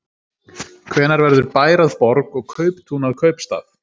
Hvenær verður bær að borg og kauptún að kaupstað?